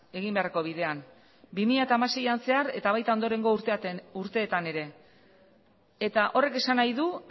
egin beharreko bidean bi mila hamaseian zehar eta baita ondorengo urteetan ere eta horrek esan nahi du